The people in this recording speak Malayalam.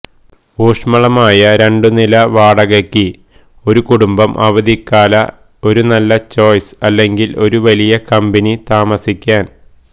ഊഷ്മളമായ രണ്ടു നില വാടകയ്ക്ക് ഒരു കുടുംബം അവധിക്കാല ഒരു നല്ല ചോയ്സ് അല്ലെങ്കിൽ ഒരു വലിയ കമ്പനി താമസിക്കാൻ